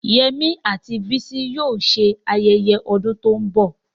Yemi àti Bisi yóò ṣe ayẹyẹ ọdún tó ń bọ̀.